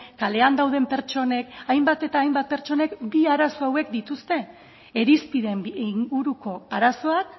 kalean dauden pertsonek hainbat eta hainbat pertsonek bi arazo hauek dituzte irizpideen inguruko arazoak